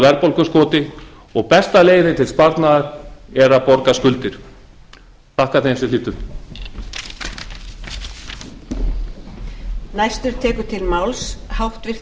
verðbólguskoti og besta leiðin til sparnaðar er að borga skuldir ég þakka þeim sem hlýddu lauk á fyrri spólu